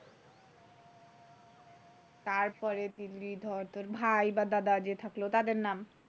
তারপরে দিলি ধর তোর ভাই বা দাদা যে থাকলো তাদের নাম,